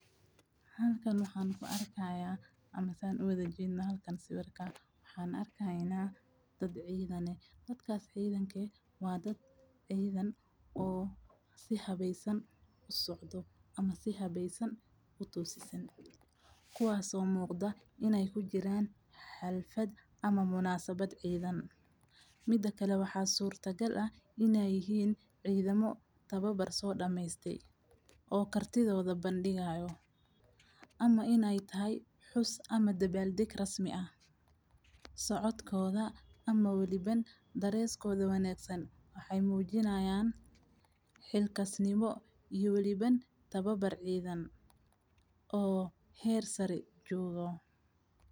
Halkan waxaan ku arkaayaa amaseen u wada jiino halkan si warka. Waxaan arkaaynaa dad ciidane. Dadkaas ciidankii waa dad ciidan oo si habaysan u socdo ama si habaysan u tuusisan. Kuwaaso muuqda inay ku jiraan xalfad ama munaasabad ciidan. Mida kale waxaa suurtagal ah inay hiin ciidamo tababar soo dhammaystey oo kartidooda bandhigayo ama inay tahay xus ama dabbaal deg rasmi ah. Socodkooda ama weliba dareeskoda wanaagsan. Waxay muujinayaan xilkasnimo iyo weliba tababar ciidan oo heer sare juugo.